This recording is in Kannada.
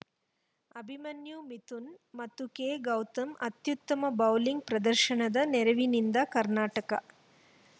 ಅಭಿಮನ್ಯು ಮಿಥುನ್‌ ಮತ್ತು ಕೆ ಗೌತಮ್‌ ಅತ್ಯುತ್ತಮ ಬೌಲಿಂಗ್‌ ಪ್ರದರ್ಶನದ ನೆರವಿನಿಂದ ಕರ್ನಾಟಕ